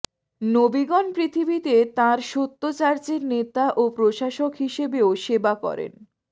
নবীগণ পৃথিবীতে তাঁর সত্য চার্চের নেতা ও প্রশাসক হিসেবেও সেবা করেন